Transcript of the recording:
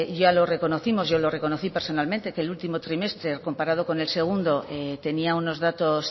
ya lo reconocimos yo lo reconocí personalmente que el último trimestre comparado con el segundo tenía unos datos